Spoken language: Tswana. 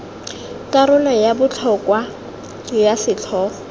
karolo ya botlhokwa ya setlhogo